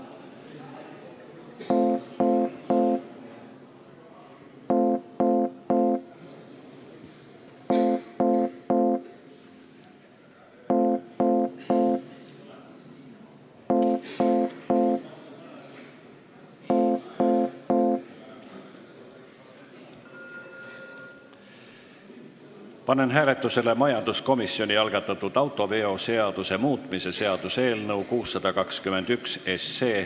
Panen hääletusele majanduskomisjoni algatatud autoveoseaduse muutmise seaduse eelnõu 621.